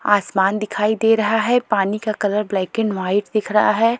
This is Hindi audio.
आसमान दिखाई दे रहा है पानी का कलर ब्लैक एंड वाइट दिख रहा है।